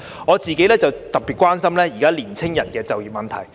我個人特別關心現時年青人的就業問題。